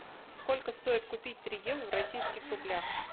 сколько стоит купить три евро в российских рублях